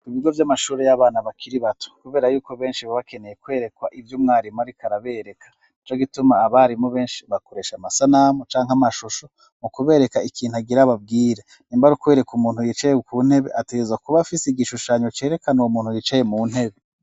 Kubigo vy'amashuri y'abana bakiri bato, kubera yuko benshi baba bakeneye kwerekwa ivyo umwarimu ariko arabereka, nico gituma, abarimu benshi bakoresha amasanamu canke amashusho mu kubereka ikintu agira ababwire, nimba ar'ukubereka umuntu yicaye ku ntebe, ategerezwa kuba afise igishushanyo cerekana uwo umuntu yicaye mu ntebe.